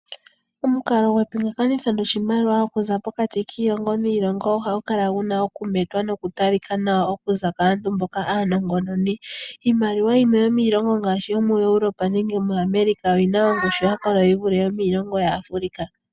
Omukalo gwepingakanitho goshimaliwa okuza pokati kiilongo niilongo ohagu kala guna okumetwa nokutalika nawa okuza kaantu mboka aanongononi. Iimaliwa yimwe yomiilongo ngaashi yomoEurope nenge moAmerica oyina ongushu yakola yivule yomiilongo yaAfrica.